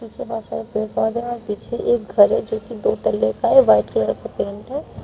पीछे बहुत सारे पेड़ पौधे है और पीछे एक घर है जो कि दो तल्ले का है व्हाइट कलर का पेंट है।